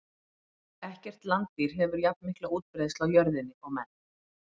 Ekkert landdýr hefur jafnmikla útbreiðslu á jörðinni og menn.